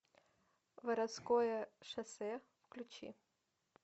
воровское шоссе включи